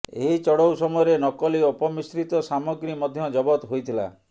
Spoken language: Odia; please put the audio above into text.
ଏହି ଚଢାଉ ସମୟରେ ନକଲି ଅପମିଶ୍ରିତ ସାମଗ୍ରୀ ମଧ୍ୟ ଜବତ ହୋଇଥିଲା